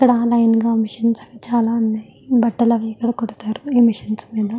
ఇక్కడ లైన్ గా మెషిన్స్ అవి చాలా ఉన్నాయి. బట్టలు కుడతరు ఈ మెషిన్స్ మీద.